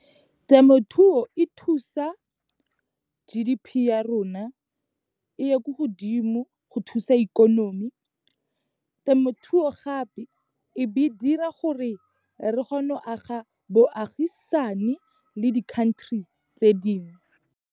Temothuo e thusa G_D_P ya rona, e ye ko godimo go thusa ikonomi. Temothuo gape, e be dira gore, re kgone go aga boagisane le di-country tse dingwe.